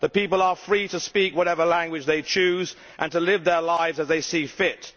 The people are free to speak whatever language they choose and to live their lives as they see fit.